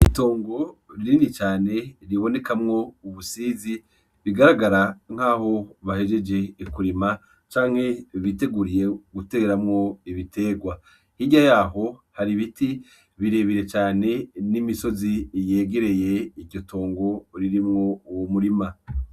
Itongo rinini cane ribonekamwo ubusizi bigaragara nkaho bahejeje kurima canke biteguriye guteramwo ibiterwa hirya yaho hari ibiti birebire cane n'imisozi yegereye iryo tongo ririmwo uwo murima.